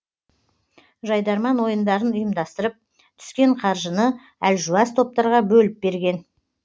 жайдарман ойындарын ұйымдастырып түскен қаржыны әлжуаз топтарға бөліп берген